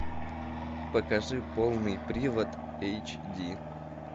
покажи полный привод эйч ди